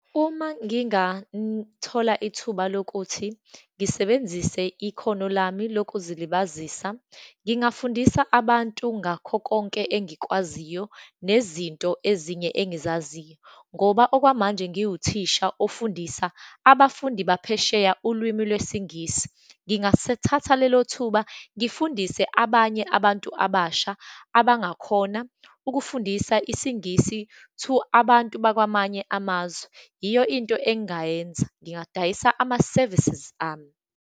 Uma ngingathola ithuba lokuthi ngisebenzise ikhono lami lokuzilibazise, ngingafundisa abantu ngakho konke engikwaziyo, nezinto ezinye engizaziyo. Ngoba okwamanje ngiwuthisha ofundisa abafundi baphesheya ulwimi lwesiNgisi, ngingasethatha lelo thuba ngifundise abanye abantu abasha abangakhona ukufundisa isiNgisi to abantu bakwamanye amazwe. Yiyo into engayenza, ngingadayisa ama-services ami.